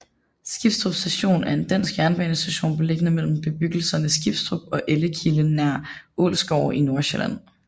Skibstrup Station er en dansk jernbanestation beliggende mellem bebyggelserne Skibstrup og Ellekilde nær Ålsgårde i Nordsjælland